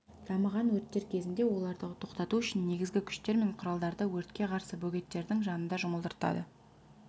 дамыған өрттер кезінде оларды тоқтату үшін негізгі күштер мен құралдарды өртке қарсы бөгеттердің жанында жұмылдырады